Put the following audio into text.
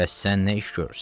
Bəs sən nə iş görürsən?